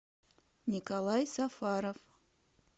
николай сафаров